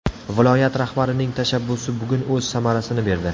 Viloyat rahbarining tashabbusi bugun o‘z samarasini berdi.